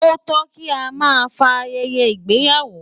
Ó tó kí a máa fa ayẹyẹ ìgbéyàwó.